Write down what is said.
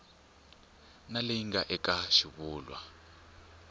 na leyi nga eka xivulwa